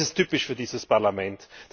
Das ist typisch für dieses Parlament.